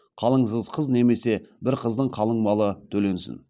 қалыңсыз қыз немесе бір қыздың қалың малы төленсін